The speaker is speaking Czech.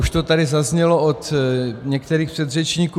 Už to tady zaznělo od některých předřečníků.